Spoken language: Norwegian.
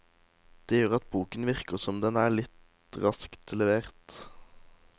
Det gjør at boken virker som den er litt raskt levert.